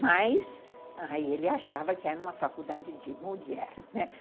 Mas aí ele achava que era uma faculdade de mulher, né?